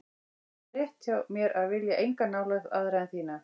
Það er rétt hjá mér að vilja enga nálægð aðra en þína.